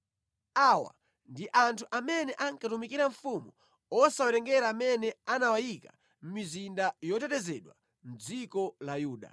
Awa ndi anthu amene ankatumikira mfumu osawerengera amene anawayika mʼmizinda yotetezedwa mʼdziko lonse la Yuda.